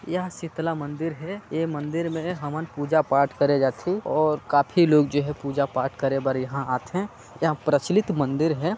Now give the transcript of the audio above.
यह शीतला मन्दिर है ए मन्दिर में हवन पूजा पाठ करे जाथे और काफ़ी लोग जो है पूजा पाठ करे बर यहाँ आथे यह प्रचलित मन्दिर है।